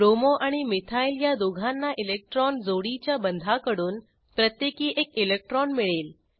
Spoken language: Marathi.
ब्रोमो आणि मिथाइल या दोहोंना इलेक्ट्रॉन जोडीच्या बंधाकडून प्रत्येकी एक इलेक्ट्रॉन मिळेल